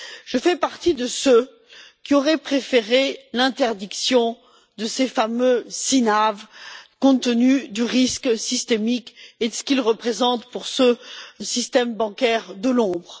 Je fais partie de ceux qui auraient préféré l'interdiction de ces fameux CNAV compte tenu du risque systémique et de ce qu'ils représentent pour ce système bancaire de l'ombre.